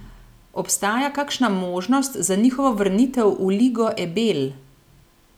Obstaja kakšna možnost za njihovo vrnitev v Ligo Ebel?